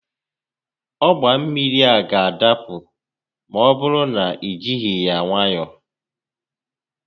Ọgba mmiri a ga-adapụ ma ọ bụrụ na i jighi ya nwayọọ